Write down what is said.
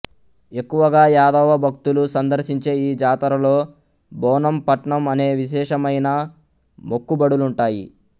ఎక్కువగా యాదవ భక్తులు సందర్శించే ఈ జాతరలో బోనం పట్నం అనే విశేషమైన మొక్కుబడులుంటాయి